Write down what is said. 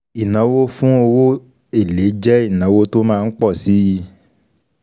Ìnáwó fún owó èlé jẹ́ ìnáwó tó má ń pọ̀ síi.